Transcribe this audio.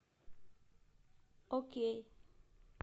окей